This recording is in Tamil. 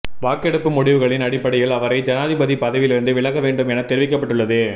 வாக்கெடுப்பு முடிவுகளின் அடிப்படையில் அவரை ஜனாதிபதி பதவியிலிருந்து விலக வேண்டும் என தெரிவிக்கப்பட்டுள்ளது